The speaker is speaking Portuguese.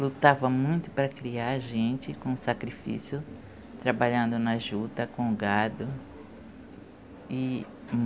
Lutava muito para criar a gente, com sacrifício, trabalhando na juta, com o gado.